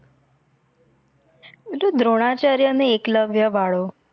દ્રોણાચાર્ય અને એકલવ્ય વાળું